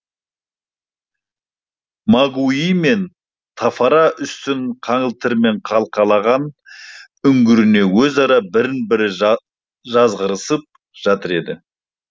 мапуи мен тэфара үстін қаңылтырмен қалқалаған үңгірінде өзара бірін бірі жазғырысып жатыр еді